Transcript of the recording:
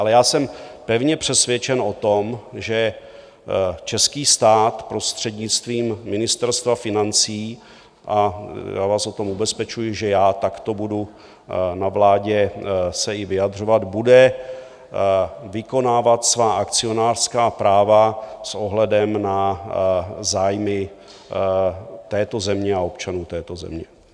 Ale já jsem pevně přesvědčen o tom, že český stát prostřednictvím Ministerstva financí, a já vás o tom ubezpečuji, že já takto budu na vládě se i vyjadřovat, bude vykonávat svá akcionářská práva s ohledem na zájmy této země a občanů této země.